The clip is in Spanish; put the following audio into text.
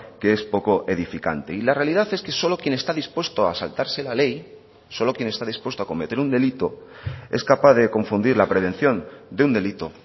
que es poco edificante y la realidad es que solo quien está dispuesto a saltarse la ley solo quien está dispuesto a cometer un delito es capaz de confundir la prevención de un delito